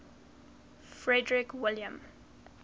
frederick william